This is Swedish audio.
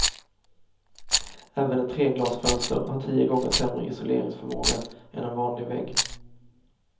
Även ett treglasfönster har tio gånger sämre isoleringsförmåga än en vanlig vägg.